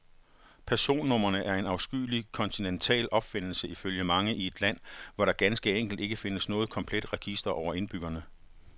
Personnumrene er en afskyelig kontinental opfindelse ifølge mange i et land, hvor der ganske enkelt ikke findes noget komplet register over indbyggerne.